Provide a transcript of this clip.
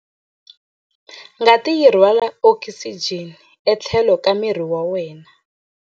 Ngati yi rhwala okisijeni etlhelo ka miri wa wena.